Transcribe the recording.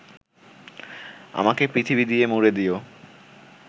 আমাকে পৃথিবী দিয়ে মুড়ে দিও